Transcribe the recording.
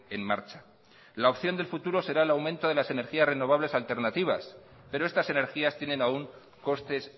en marcha la opción del futuro será el aumento de las energías renovables alternativas pero estas energías tienen aún costes